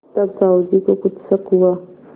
तब साहु जी को कुछ शक हुआ